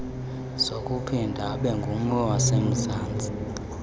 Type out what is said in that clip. sokuphinda abengummi wasemzansti